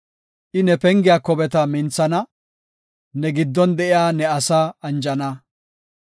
I ne pengiya kobeta minthana; ne giddon de7iya ne asaa anjana.